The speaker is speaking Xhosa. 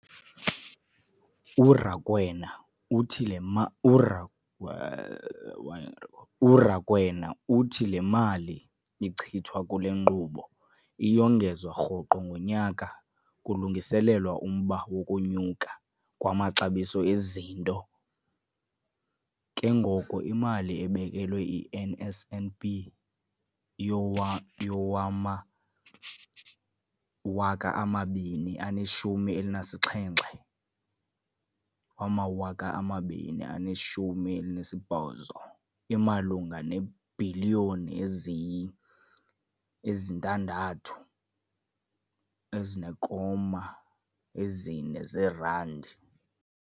URakwena uthi le URakwena uthi mali ichithwa kule nkqubo iyongezwa rhoqo ngonyaka kulungiselelwa umba wokunyuka kwamaxabiso ezinto, ke ngoko imali ebekelwe i-NSNP yowama-2017, 18 imalunga neebhiliyoni eziyi-6.4 zeerandi.